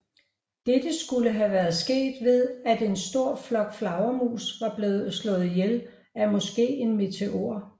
Dette skulle have være sket ved at en stor flok flagermus var blevet slået ihjel af måske en meteor